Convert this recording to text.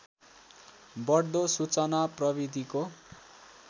बढ्दो सूचना प्रविधिको